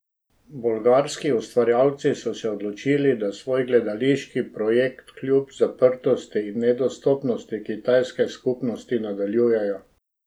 Bolgarski ustvarjalci so se odločili, da svoj gledališki projekt kljub zaprtosti in nedostopnosti kitajske skupnosti nadaljujejo.